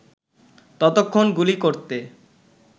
ততক্ষণ গুলি করতে